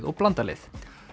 og blandað lið